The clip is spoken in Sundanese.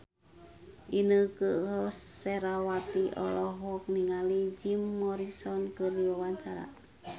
Inneke Koesherawati olohok ningali Jim Morrison keur diwawancara